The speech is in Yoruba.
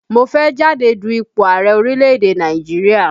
Mo fẹ́ jáde du ipò ààrẹ̀ orílẹ̀ èdè Nàìjíríà